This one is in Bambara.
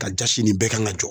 Ka jasi nin bɛɛ kan ka jɔ